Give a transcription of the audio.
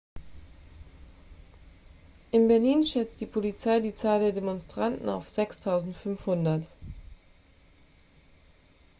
in berlin schätzte die polizei die zahl der demonstranten auf 6.500